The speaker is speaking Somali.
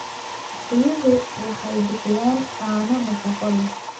Riyuhu waxay bixiyaan caano nafaqo leh.